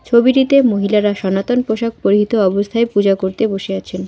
ছবিটিতে মহিলারা সনাতন পোশাক পরিহিত অবস্থায় পূজা করতে বসিয়াছেন।